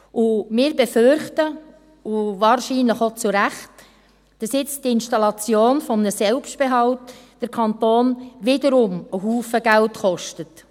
Wir befürchten, und wahrscheinlich auch zu Recht, dass nun die Installation eines Selbstbehalts den Kanton wiederum einen Haufen Geld kostet.